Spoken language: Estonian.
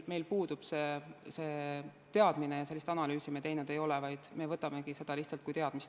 Meil puudub see teadmine ja sellist analüüsi me teinud ei ole, vaid me võtamegi seda täna lihtsalt kui teadmist.